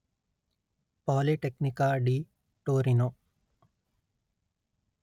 ಪಾಲಿಟೆಕ್ನಿಕಾ di Torino